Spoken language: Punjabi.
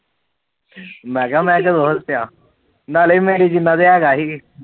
ਮੈ ਕਿਹਾ ਮੈ ਕਦੋ ਹੱਸਿਆ ਨਾਲੇ ਮੈ